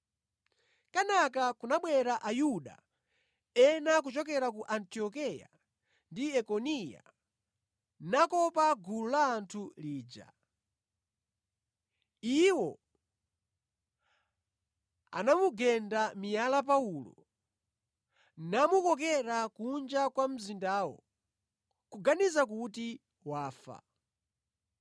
Kenaka kunabwera Ayuda ena kuchokera ku Antiokeya ndi Ikoniya nakopa gulu la anthu lija. Iwo anamugenda miyala Paulo namukokera kunja kwa mzindawo, kuganiza kuti wafa.